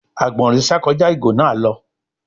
Àgbọ̀nrín sà kọjá ìgò náà lọ.